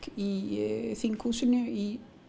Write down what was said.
í þinghúsinu í